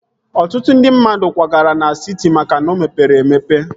Ọtụtụ ndị mmadụ kwagara na siti maka na o mepere emepe